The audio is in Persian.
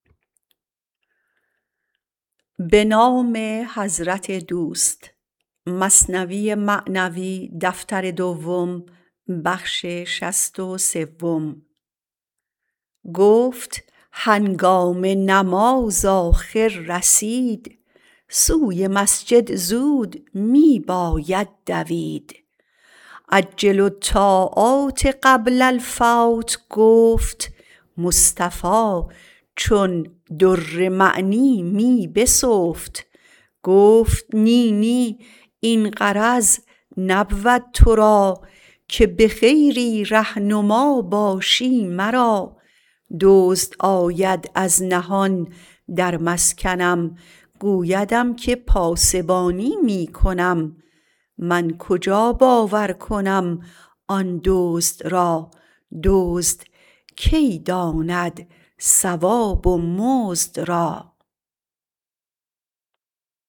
گفت هنگام نماز آخر رسید سوی مسجد زود می باید دوید عجلوا الطاعات قبل الفوت گفت مصطفی چون در معنی می بسفت گفت نی نی این غرض نبود تو را که بخیری ره نما باشی مرا دزد آید از نهان در مسکنم گویدم که پاسبانی می کنم من کجا باور کنم آن دزد را دزد کی داند ثواب و مزد را